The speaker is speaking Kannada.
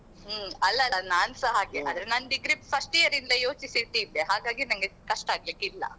ಹ್ಮ್ ಅಲ್ಲ ಅಲ್ಲ ನಾನ್ಸ ಹಾಗೆ ಆದ್ರೆ ನಾನ್ degree first year ಯಿಂದ ಯೋಚಿಸಿ ಇಟ್ಟಿದ್ದೆ ಹಾಗಾಗಿ ನಂಗೆ ಕಷ್ಟ ಆಗ್ಲಿಕ್ಕಿಲ್ಲ.